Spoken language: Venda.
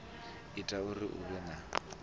ita uri hu vhe na